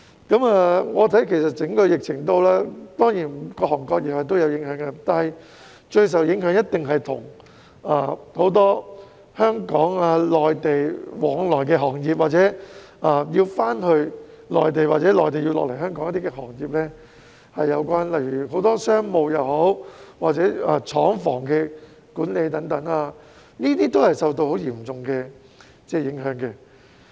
於我看來，整個疫情當然對各行各業都有影響，但是，最受影響的一定是涉及很多香港、內地往來的行業，即有關業務要回內地或由內地來港才能處理的行業，例如商務、廠房管理等，均受到很嚴重的影響。